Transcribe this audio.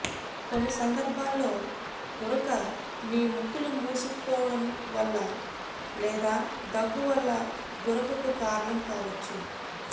కొన్ని సందర్భాల్లో గురక మీ ముక్కులు మూసుకుపోవడం వల్ల లేదా దగ్గువల్ల గురకకు కారణం కావచ్చు